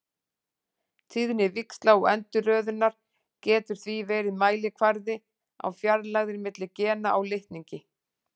Tíðni víxla og endurröðunar getur því verið mælikvarði á fjarlægðir milli gena á litningi.